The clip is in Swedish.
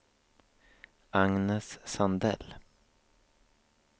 Agnes Sandell